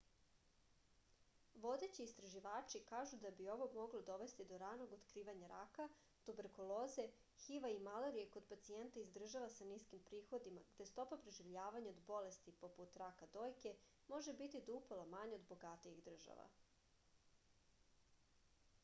vodeći istraživači kažu da bi ovo moglo dovesti do ranog otkrivanja raka tuberkuloze hiv-a i malarije kod pacijenata iz država sa niskim prihodima gde stopa preživljavanja od bolesti poput raka dojke može biti do upola manja od bogatijih država